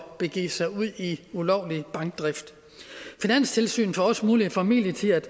at begive sig ud i ulovlig bankdrift finanstilsynet får også mulighed for midlertidigt at